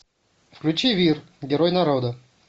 включи вир герой народа